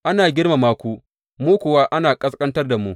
Ana girmama ku, mu kuwa ana ƙasƙantar da mu!